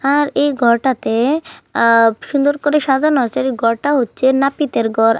আর এই ঘরটাতে আ সুন্দর করে সাজানো আছে। এই ঘরটা হচ্ছে নাপিতের ঘর।